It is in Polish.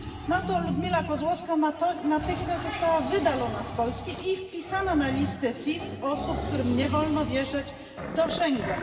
Za to Ludmiła Kozłowska natychmiast została wydalona z Polski i wpisana na listę SIS osób, którym nie wolno wjeżdżać do Schengen.